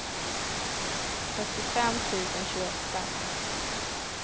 fyrtiofem tusen tjugoåtta